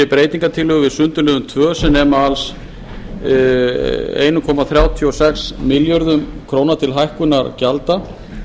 breytingartillögur við sundurliðun tvö sem nema alls einn komma þrjátíu og sex milljörðum króna til hækkunar gjalda